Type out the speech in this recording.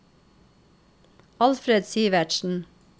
Alfred Sivertsen